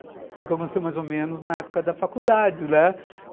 Foi o que aconteceu mais ou menos na época da faculdade, né?